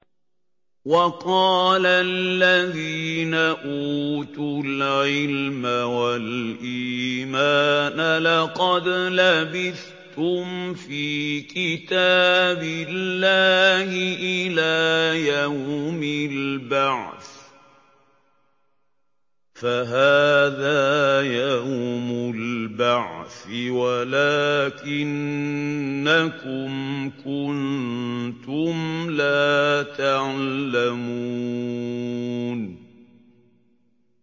وَقَالَ الَّذِينَ أُوتُوا الْعِلْمَ وَالْإِيمَانَ لَقَدْ لَبِثْتُمْ فِي كِتَابِ اللَّهِ إِلَىٰ يَوْمِ الْبَعْثِ ۖ فَهَٰذَا يَوْمُ الْبَعْثِ وَلَٰكِنَّكُمْ كُنتُمْ لَا تَعْلَمُونَ